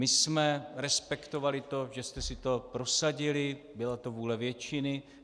My jsme respektovali to, že jste si to prosadili, byla to vůle většiny.